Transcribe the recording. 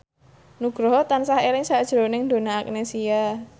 Nugroho tansah eling sakjroning Donna Agnesia